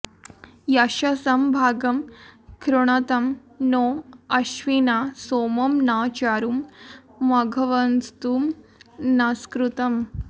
य॒शसं॑ भा॒गं कृ॑णुतं नो अश्विना॒ सोमं॒ न चारुं॑ म॒घव॑त्सु नस्कृतम्